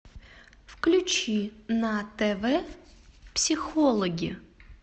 включи на тв психологи